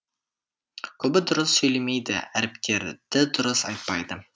көбі дұрыс сөйлемейді әріптерді дұрыс айтпайды